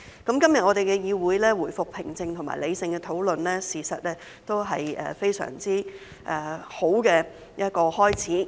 今天我們的議會回復平靜和理性討論，事實上也是一個相當好的開始。